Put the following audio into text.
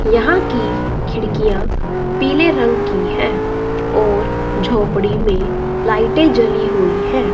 यहां की खिड़कियां पीले रंग की हैं और झोपड़ी में लाइटें जली हुई हैं।